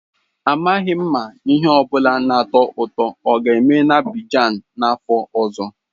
Amaghị m ma ihe ọ bụla na-atọ ụtọ oga-eme na Abidjan n'afọ ọzọ.